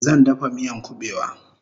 Zan dafa miyan kubewa